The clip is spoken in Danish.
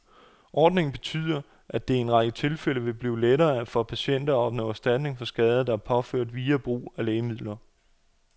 Ordningen betyder, at det i en række tilfælde vil blive lettere for patienter at opnå erstatning for skader, der er påført via brug af lægemidler.